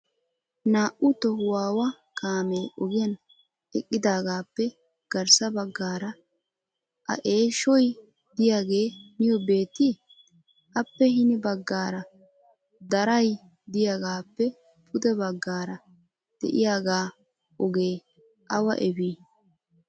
Naa"u tohuwawa kaamee ogiyan eqqidaagappe garssa baggaara a eeshshoy diyaage niyo beettii? Appe hini baggaara daray de'iyaagappe pude baggaara de'iyaaga ogee awa efii?